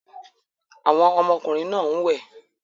Àwọn ọmọkùnrin náà ń wẹ̀